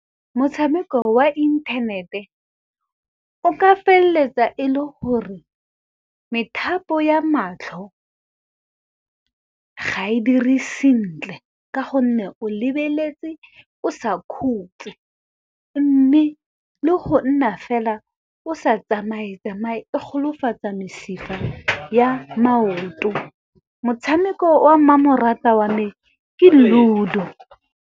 Motshameko wa inthanete o ka feleletsa e le gore methapo ya matlho ga e dire sentle. Ka gonne o lebeletse o sa khutse mme le go nna fela o sa tsamaye-tsamaye, e go golofatsa mesifa ya maoto, motshameko o a mmamoratwa wa me ke Ludo.